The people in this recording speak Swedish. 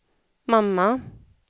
mamma